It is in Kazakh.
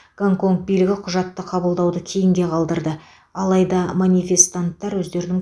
гонконг билігі құжатты қабылдауды кейінге қалдырды алайда манифестанттар өздерінің